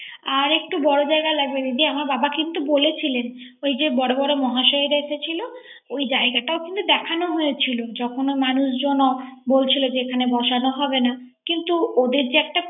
আরে একটু বর জায়গা লাগবে দিদি আমার বাবা কিন্তু বলেছিলেন। ওইযে বর বর মহাশয়রা এসেছিল ওই জায়গাটাও কিন্তু দেখানো হয়েছিল। যখন মানুষজন বলেছিল এখানে বসানো হবে না